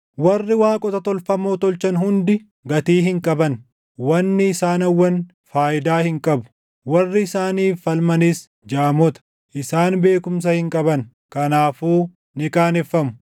Warri waaqota tolfamoo tolchan hundi gatii hin qaban; wanni isaan hawwan faayidaa hin qabu. Warri isaaniif falmanis jaamota; isaan beekumsa hin qaban; kanaafuu ni qaaneffamu.